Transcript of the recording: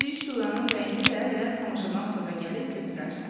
Bədii Şuranın rəyini də elə tamaşadan sonra gəlib götürərsən.